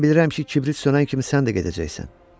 Mən bilirəm ki, kibrit sönən kimi sən də gedəcəksən.